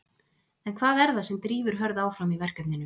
En hvað er það sem drífur Hörð áfram í verkefninu?